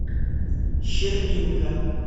щербинка